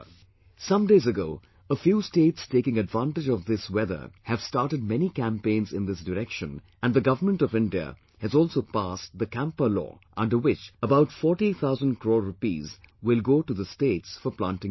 Some days ago, a few states taking advantage of this weather have started many campaigns in this direction and the Government of India has also passed CAMPA law, under which about 40 thousand crores rupees will go to the states for planting trees